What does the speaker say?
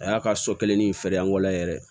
A y'a ka so kelen ni feere angɔla yɛrɛ